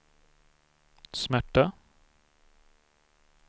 smärta